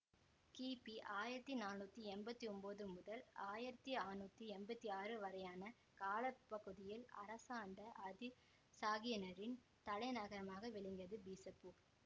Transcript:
கிபி ஆயிரத்தி நானூத்தி எம்பத்தி ஒன்பது முதல் ஆயிரத்தி ஆற்நூத்தி எம்பத்தி ஆறு வரையான கால பகுதியில் அரசாண்ட ஆதில்சாகியினரின் தலைநகரமாக விளங்கியது பீசப்பூர்